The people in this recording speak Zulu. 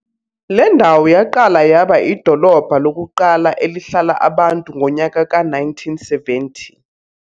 Le ndawo yaqala yaba idolobha lokuqala elihlala abantu ngonyaka ka- 1970.